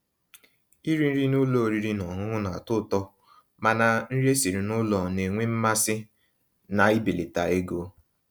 Írì nrí n'ụ́lọ̀ ọ̀rị́rị́ ná ọ̀ṅụ̀ṅụ̀ ná-àtọ́ ụ̀tọ́, mànà nrí èsirí n'ụ́lọ̀ ná-ènwé mmàsí ná íbèlàtà égó.